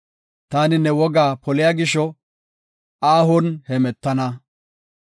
Taani ne woga poliya gisho, aahon hemetana.